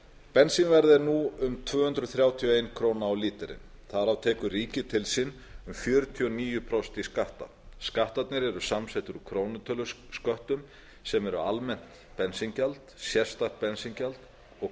bensínverð er nú um tvö hundruð þrjátíu og ein króna á lítrann þar af tekur ríkið til sín um fjörutíu og níu prósent í skatta skattarnir eru samsettir úr krónutölusköttum sem eru almennt bensíngjald sérstakt bensíngjald og